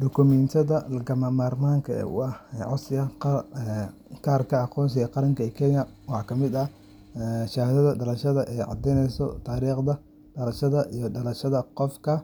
Dukumiintiyada lagama maarmaanka u ah codsiga kaarka aqoonsiga qaranka ee Kenya waxaa ka mid ah shahaadada dhalashada oo caddeyneysa taariikhda dhalashada iyo dhalashada qofka,